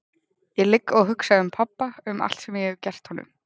Ég ligg og hugsa um pabba, um allt sem ég hef gert honum.